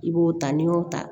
I b'o ta n'i y'o ta